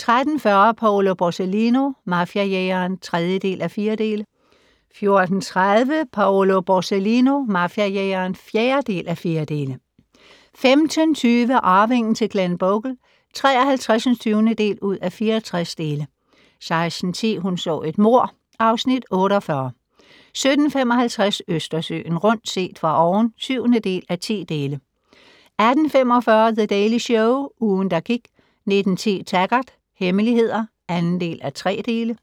13:40: Paolo Borsellino - mafiajægeren (3:4) 14:30: Paolo Borsellino - mafiajægeren (4:4) 15:20: Arvingen til Glenbogle (53:64) 16:10: Hun så et mord (Afs. 48) 17:55: Østersøen rundt - set fra oven (7:10) 18:45: The Daily Show - ugen, der gik 19:10: Taggart: Hemmeligheder (2:3)